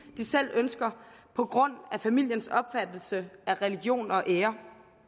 de selv ønsker på grund af familiens opfattelse af religion og ære